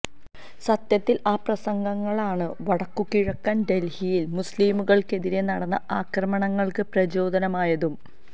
സത്യത്തില് ആ പ്രസംഗങ്ങളാണ് വടക്കുകിഴക്കന് ഡല്ഹിയില് മുസ്ലിംകള്ക്കെതിരേ നടന്ന ആക്രമണങ്ങള്ക്ക് പ്രചോദനമായതും